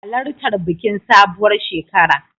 Halartar bikin sabuwar shekara.